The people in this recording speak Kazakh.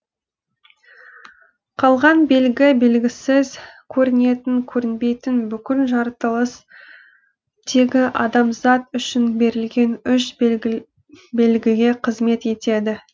қалған белгі белгісіз көрінетін көрінбейтін бүкіл жаратылыс тегі адамзат үшін берілген үш белгіге қызмет етеді